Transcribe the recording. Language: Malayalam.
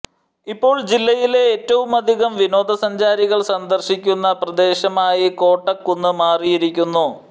ഇപ്പോൾ ജില്ലയിലെ ഏറ്റവുമധികം വിനോദസഞ്ചാരികൾ സന്ദർശിക്കുന്ന പ്രദേശമായി കോട്ടക്കുന്ന് മാറിയിരിക്കുന്നു